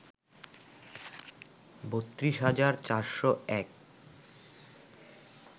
৩২ হাজার ৪০১